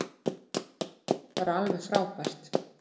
Bara alveg frábært.